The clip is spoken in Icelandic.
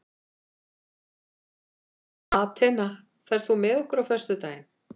Atena, ferð þú með okkur á föstudaginn?